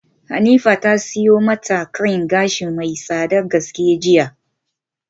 Hanifa ta siyo mata cream gashi mai tsadar gaske jiya.